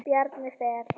Bjarni Fel.